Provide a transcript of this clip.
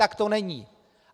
Tak to není.